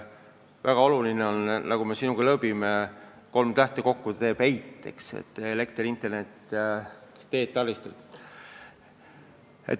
Väga olulised on, nagu me sinuga lõõbime, kolm tähte, mis kokku teevad EIT: elekter, internet, teed-taristud.